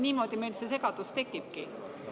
Niimoodi meil see segadus tekibki.